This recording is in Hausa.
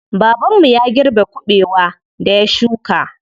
Baban mu ya girbe kuɓewar da ya shuka.